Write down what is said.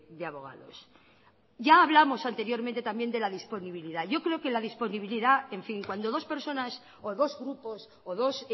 de abogados ya hablamos anteriormente también de la disponibilidad yo creo que la disponibilidad en fin cuando dos personas o dos grupos o dos